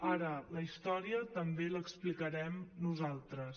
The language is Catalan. ara la història també l’explicarem nosaltres